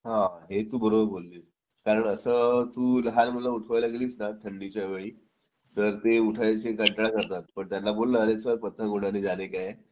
आहे तू बरोबर बोललीस कारण असं तू लहान मुलांना उठवायला गेलीस ना थंडीच्या वेळी तर ते उठायचा कंटाळा करतात पण त्यांना बोललो अरे चल पतंग उडाने जाने का है